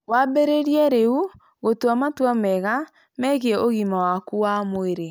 Wambĩrĩrie rĩu gũtua matua mega megiĩ ũgima waku wa mwĩrĩ.